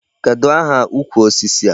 Kedụ aha ukwu osisi a?